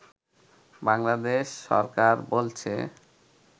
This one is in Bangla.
বাংলাদেশ সরকার বলছে